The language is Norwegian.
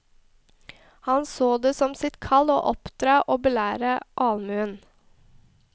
Han så det som sitt kall å oppdra og belære allmuen.